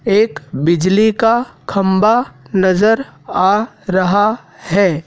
एक बिजली का खंबा नजर आ रहा हैं।